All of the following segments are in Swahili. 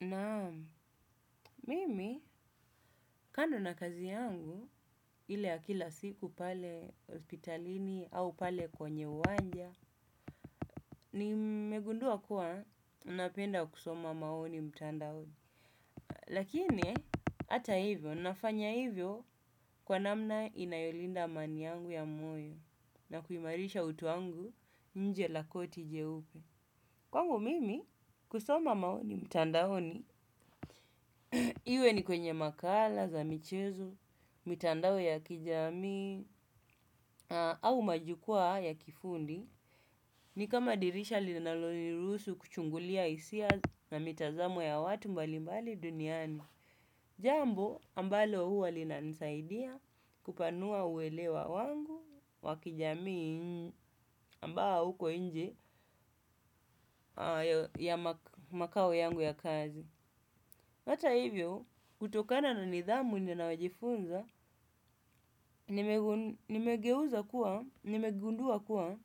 Naam, mimi, kando na kazi yangu, ile ya kila siku pale hospitalini au pale kwenye uwanja, nimegundua kuwa napenda kusoma maoni mtandaoni. Lakini, ata ivo, ninafanya ivyo kwa namna inayolinda amani yangu ya moyo na kuimarisha utu wangu nje lakoti jeupe. Kwangu mimi kusoma maoni mtandaoni iwe ni kwenye makala, za michezo, mitandao ya kijamii, au majukwaa ya kifundi, ni kama dirisha linaloniruhusu kuchungulia isia na mitazamo ya watu mbalimbali duniani. Jambo, ambalo huwa linanisaidia kupanua uelewa wangu wa kijamii ambawa uko inje ya makao yangu ya kazi. Ata ivyo, kutokana na nidhamu ninayojifunza, nimegeuza kuwa, nimegundua kuwa,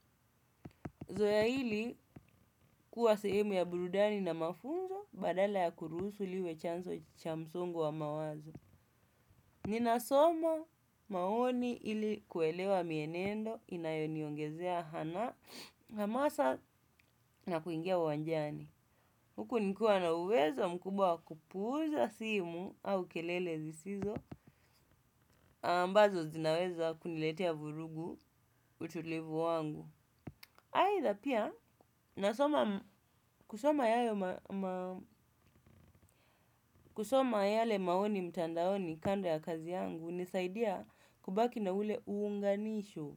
zoea hili kuwa sehemu ya burudani na mafunzo badala ya kuruhusu liwe chanzo cha msongo wa mawazo. Ninasoma maoni ili kuelewa mienendo inayoniongezea hanaa hamasa na kuingia uwanjani. Huku nikuwa na uweza mkubwa wa kupuuza simu au kelele zisizo, ambazo zinaweza kuniletea vurugu utulivu wangu. Aitha pia, nasoma kusoma kusoma yale maoni mtandaoni kando ya kazi yangu, unisaidia kubaki na ule uunganisho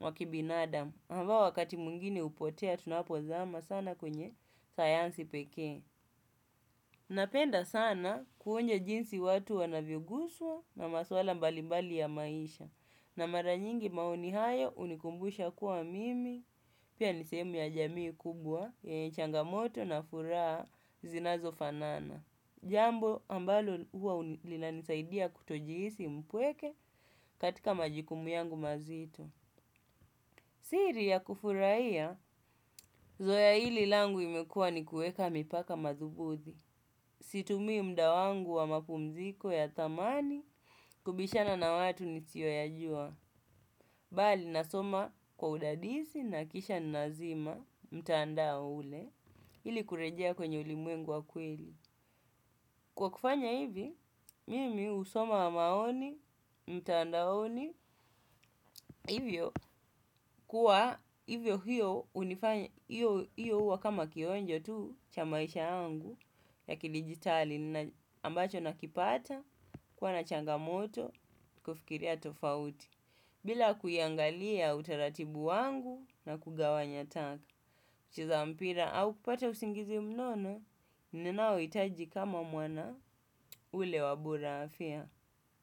wa kibinadam. Ambao wakati mwingine upotea tunapozama sana kwenye sayansi pekee. Napenda sana kuonye jinsi watu wanavyoguswa na maswala mbalimbali ya maisha na mara nyingi maoni hayo unikumbusha kuwa mimi pia ni sehemu ya jamii kubwa yenye changamoto na furaha zinazofanana. Jambo ambalo huwa linanisaidia kutojiisi mpweke katika majikumu yangu mazito. Siri ya kufurahia, zoea ili langu imekua ni kueka mipaka mathubuthi. Situmii mda wangu wa mapumziko ya thamani kubishana na watu nisioyajua. Bali nasoma kwa udadisi na kisha ninazima mtaandao ule ili kurejea kwenye ulimwengu wa kweli. Kwa kufanya hivi, mimi usoma maoni, mtandaoni, ivyo kuwa ivyo hio uwa kama kionjo tuu cha maisha yangu ya kidijitali ambacho nakipata kuwa na changamoto kufikiria tofauti. Bila kuiangalia utaratibu wangu na kugawanya taka, kucheza mpira au kupata usingizi mnono, ninaoitaji kama mwana ule wa bora afya.